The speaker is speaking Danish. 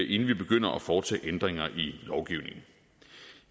inden vi begynder at foretage ændringer i lovgivningen